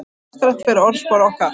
Hættulegt fyrir orðspor okkar